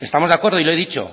estamos de acuerdo y lo he dicho